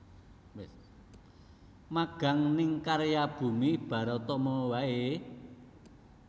Magang ning Karya Bumi Baratama wae?